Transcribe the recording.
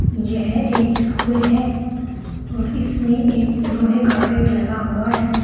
यह एक स्कूल है और इसमें एक लोहे का गेट लगा हुआ है।